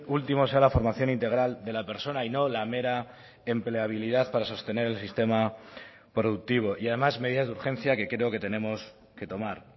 último sea la formación integral de la persona y no la mera empleabilidad para sostener el sistema productivo y además medidas de urgencia que creo que tenemos que tomar